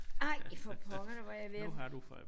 Ej for pokker der var jeg ved at